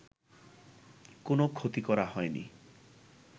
কোন ক্ষতি করা হয়নি